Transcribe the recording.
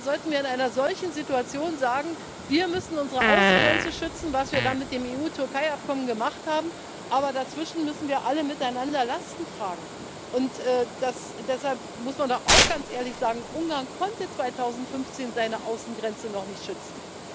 Oder sollten wir in einer solchen Situation sagen Wir müssen unsere Außengrenze schützen was wir dann mit dem EU Türkei Abkommen gemacht haben, aber dazwischen müssen wir alle miteinander Lasten tragen! Deshalb muss man da auch ganz ehrlich sagen Ungarn konnte 2015 seine Außengrenze noch nicht schützen.